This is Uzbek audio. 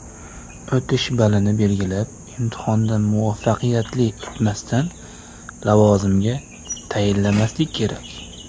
O‘tish balini belgilab, imtihondan muvaffaqiyatli o‘tmasdan lavozimga tayinlanmaslik kerak.